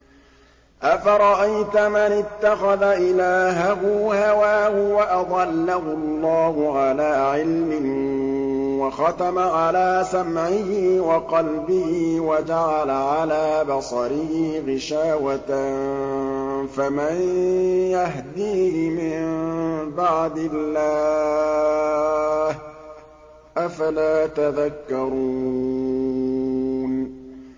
أَفَرَأَيْتَ مَنِ اتَّخَذَ إِلَٰهَهُ هَوَاهُ وَأَضَلَّهُ اللَّهُ عَلَىٰ عِلْمٍ وَخَتَمَ عَلَىٰ سَمْعِهِ وَقَلْبِهِ وَجَعَلَ عَلَىٰ بَصَرِهِ غِشَاوَةً فَمَن يَهْدِيهِ مِن بَعْدِ اللَّهِ ۚ أَفَلَا تَذَكَّرُونَ